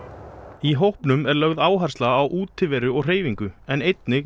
í hópnum er lögð áhersla á útiveru og hreyfingu en einnig